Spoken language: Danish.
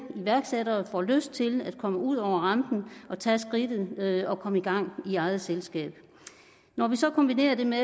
iværksættere får lyst til at komme ud over rampen og tage skridtet og komme i gang i eget selskab når vi så kombinerer det med